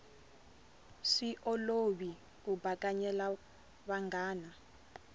swi olovi ku bakanyela vanghana